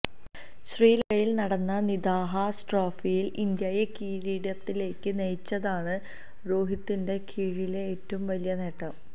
ശ്രീലങ്കയില് നടന്ന നിദാഹാസ് ട്രോഫിയില് ഇന്ത്യയെ കിരീടത്തിലേക്കു നയിച്ചതാണ് രോഹിത്തിനു കീഴിലെ ഏറ്റവും വലിയ നേട്ടം